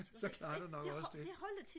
så klarer det nok også det